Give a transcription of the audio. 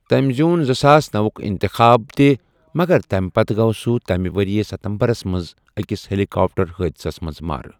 تمہِ زِیوٗن زٕساس نَو وُك اِنتخاب تہِ ، مگر تمہِ پتیہ گو سہُ تمہِ ورییہ سپتمبرس منز اكِس ہیلیكاپٹر حٲدِثس منز مارٕ ۔